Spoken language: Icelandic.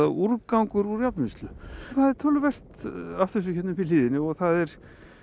úrgangur úr járnvinnslu það er töluvert af þessu hérna upp í hlíðinni og það er